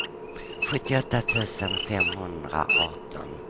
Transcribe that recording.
sjuttioåtta tusen femhundraarton